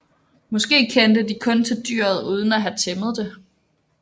Måske kendte de kun til dyret uden at have tæmmet det